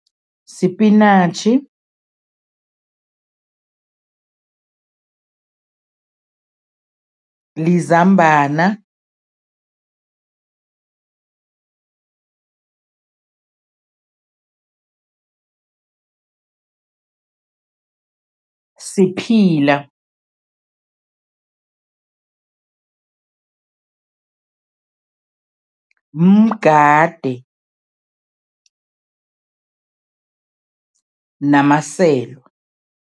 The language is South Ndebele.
Sipinatjhi, lizambana, siphila, mgade namaselwa.